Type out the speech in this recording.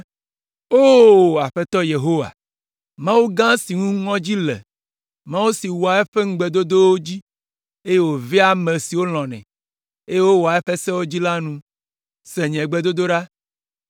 “O! Aƒetɔ Yehowa, Mawu gã si ŋu ŋɔdzi le, Mawu si wɔa eƒe ŋugbedodowo dzi, eye wòvea ame siwo lɔ̃nɛ, eye wowɔa eƒe sewo dzi la nu, se nye gbedodoɖa.